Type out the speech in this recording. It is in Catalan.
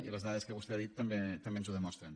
i les dades que vostè ha dit també ens ho demostren